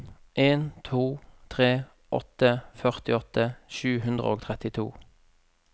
en to tre åtte førtiåtte sju hundre og trettito